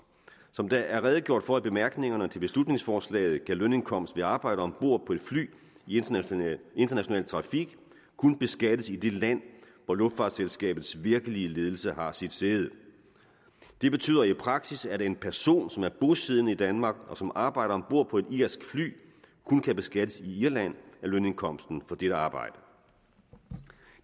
som der er redegjort for i bemærkningerne til beslutningsforslaget kan lønindkomst ved arbejde om bord på et fly i international international trafik kun beskattes i det land hvor luftfartsselskabets virkelige ledelse har sit sæde det betyder i praksis at en person som er bosiddende i danmark og som arbejder om bord på et irsk fly kun kan beskattes i irland af lønindkomsten for dette arbejde